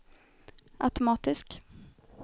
automatisk